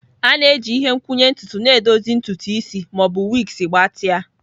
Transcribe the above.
A na-eji ihe nkwụnye ntutu na-edozi ntutu isi ma ọ bụ wigs gbatịa.